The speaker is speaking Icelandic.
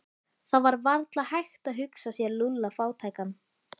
Það var varla hægt að hugsa sér Lúlla fátækan.